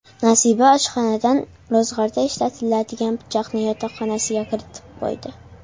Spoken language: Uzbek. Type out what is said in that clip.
Nasiba oshxonadan ro‘zg‘orda ishlatadigan pichoqni yotoqxonasiga kiritib qo‘ydi.